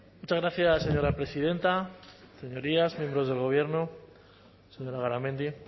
muchas gracias señora presidenta señorías miembros del gobierno señora garamendi